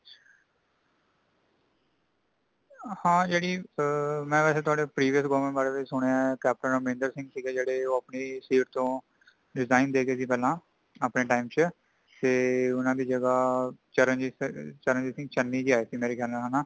ਹਾਂ ਜੇਹੜੀ, ਮੈਂ ਵੇਸੇ ਤੁਹਾਡੀ previous government ਬਾਰੇ ਵੀ ਸੁਣਿਆ ਹੇ |ਕੈਪ੍ਟਨ ਅਮਰਿੰਦਰ ਸਿੰਘ ਸੀਗੇ ਜੇੜੇ ਉਹ ਅਪਣੀ seat ਤੋਂ | resign ਦੇ ਗਏ ਸੇ ਪਹਿਲਾ ,ਅਪਣੇ time ਚ ,ਤੇ ਊਨਾ ਦੀ ਜਗਹਾ ਚਰਨਜੀਤ ,ਚਰਨਜੀਤ ਚੰਨੀ ਜੀ ਆਏ ਸੀ ਮੇਰੇ ਖ਼ਯਾਲ ਨਾਲ ਹੇਨਾ।